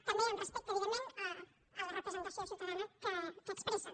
també amb respecte evidentment a la representació ciutadana que expressen